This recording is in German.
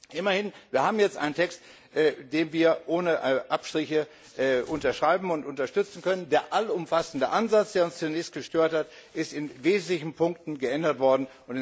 Immerhin, wir haben jetzt einen Text, den wir ohne Abstriche unterschreiben und unterstützen können. Der allumfassende Ansatz, der uns zunächst gestört hat, ist in wesentlichen Punkten geändert worden.